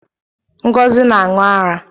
Ngozi na aṅụ ara